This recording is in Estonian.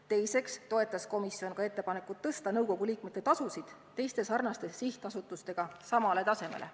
Teiseks toetas komisjon ka ettepanekut suurendada nõukogu liikmete tasusid teiste sarnaste sihtasutuste tasudega samale tasemele.